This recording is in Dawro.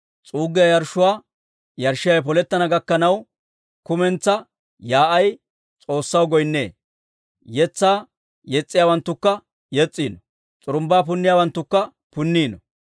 S'uuggiyaa yarshshuwaa yarshshiyaawe polettana gakkanaw, kumentsaa yaa'ay S'oossaw goynnee; yetsaa yes's'iyaawanttukka yes's'iino; s'urumbbaa punniyaawanttukka punniino.